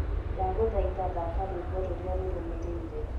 ndagũthaitha thaka rwĩmbo rũrĩa rurũmiriire